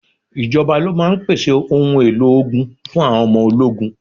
Ìjọba ló máa ń pèsè òun èlò ogun fun àwọn ọmọ ológun.